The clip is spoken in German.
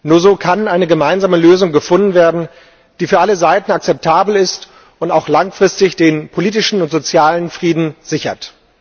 Nur so kann eine gemeinsame Lösung gefunden werden, die für alle Seiten akzeptabel ist und auch langfristig den politischen und sozialen Frieden sichert.